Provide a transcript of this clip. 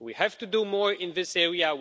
We have to do more in this area.